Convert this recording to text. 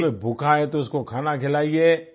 कोई भूखा है तो उसको खाना खिलाइए